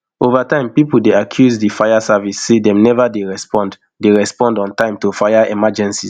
over time pipo bin dey accuse di fire service say dem neva dey respond dey respond on time to fire emergencies